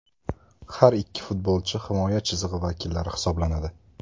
Har ikki futbolchi himoya chizig‘i vakillari hisoblanadi.